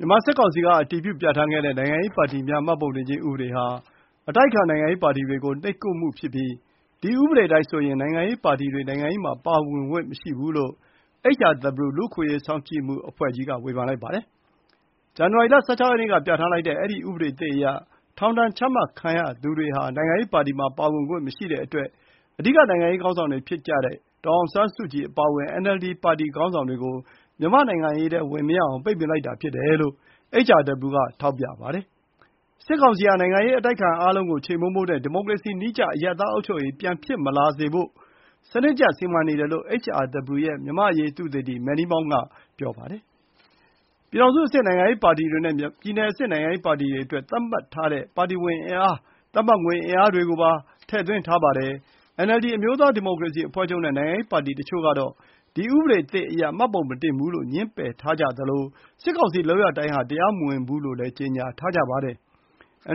မြန်မာစစ်ကောင်စီက အတည်ပြု ပြဌာန်းခဲ့တဲ့ နိုင်ငံရေးပါတီများမှတ်ပုံတင်ခြင်းဥပဒေဟာ အတိုက်အခံနိုင်ငံရေးပါတီတွေကို နှိပ်ကွပ်မှုဖြစ်ပြီး၊ ဒီဥပဒေအတိုင်းဆိုရင် နိုင်ငံရေးပါတီတွေ နိုင်ငံရေးမှာ ပါဝင်ခွင့်မရှိဘူးလို့ HRW လူ့အခွင့်အရေးစောင့်ကြပ်မှုအဖွဲ့ကြီးက ဝေဖန်လိုက်ပါတယ်။ ဇန်နဝါရီလ ၁၆ ရက်နေ့က ပြဌာန်းလိုက်တဲ့ အဲဒီ ဥပဒေသစ်အရဆို ထောင်ဒဏ်ချမှတ်ခံရသူတွေ နိုင်ငံရေးပါတီမှာ ပါဝင်ခွင့်မရှိတဲ့အတွက်၊ အဓိက နိုင်ငံရေးခေါင်းဆောင်တွေဖြစ်တဲ့ ဒေါ်အောင်ဆန်းစုကြည်အပါအဝင် NLD ပါတီခေါင်းဆောင်တွေကို မြန်မာ့နိုင်ငံရေးထဲ ဝင်မရအောင် ပိတ်ပင်လိုက်တာဖြစ်တယ်လို့ HRW က ထောက်ပြပါတယ်။ စစ်ကောင်စီဟာ နိုင်ငံရေးအတိုက်အခံအားလုံးကို ချေမှုန်းဖို့နဲ့ ဒီမိုကရေစီနည်းကျအရပ်သားအုပ်ချုပ်ရေးပြန်မဖြစ်လာစေဖို့ စနစ်တကျစီမံနေတယ်လို့ HRW ရဲ့ မြန်မာအရေးသုတေသီ Manny Maung က ပြောပါတယ်။ ပြည်ထောင်စုအဆင့် နိုင်ငံရေးပါတီတွေနဲ့ ပြည်နယ်အဆင့်နိုင်ငံရေးပါတီတွေအတွက် သတ်မှတ်ပါတီဝင်အင်အား၊ သတ်မှတ်ငွေအင်အားတွေကိုပါ ထည့်သွင်းထားပါတယ်။ NLD အမျိုးသားဒီမိုကရေစီအဖွဲ့ချုပ်နဲ့ နိုင်ငံရေးပါတီတချို့တို့ကတော့ ဒီဥပဒေသစ်အရ မှတ်ပုံတင်မှုကို ငြင်းပယ်ထားသလို၊ စစ်ကောင်စီလုပ်ရပ်တိုင်းဟာ တရားမဝင်ဘူးလို့လည်း ကြေညာထားပါတယ်။